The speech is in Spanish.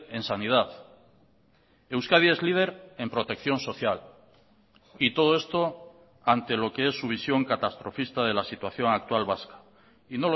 en sanidad euskadi es líder en protección social y todo esto ante lo que es su visión catastrofista de la situación actual vasca y